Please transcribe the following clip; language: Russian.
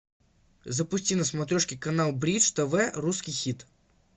запусти на смотрешке канал бридж тв русский хит